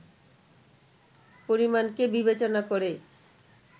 পরিমাণকে বিবেচনা করে